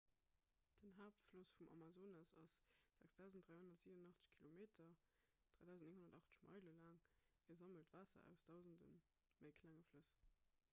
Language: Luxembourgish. den haaptfloss vum amazonas ass 6 387 km 3 980 meile laang. e sammelt waasser aus dausende méi klenge flëss